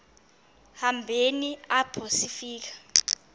hambeni apho sifika